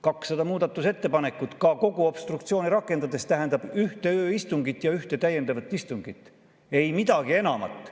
200 muudatusettepanekut ka kogu obstruktsiooni rakendades tähendab ühte ööistungit ja ühte täiendavat istungit, ei midagi enamat.